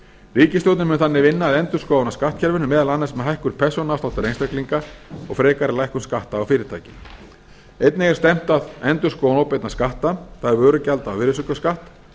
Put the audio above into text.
ríkisstjórnin mun þannig vinna að endurskoðun á skattkerfinu meðal annars með hækkun persónuafsláttar einstaklinga og frekari lækkun skatta á fyrirtæki einnig er stefnt að endurskoðun óbeinna skatta það er er vörugjalda og virðisaukaskatts